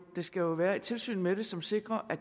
der skal være et tilsyn med det som sikrer at